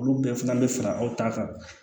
Olu bɛɛ fana bɛ fara aw ta kan